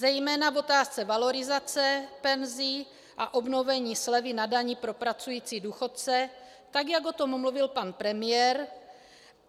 Zejména v otázce valorizace penzí a obnovení slevy na dani pro pracující důchodce, tak jak o tom mluvil pan premiér.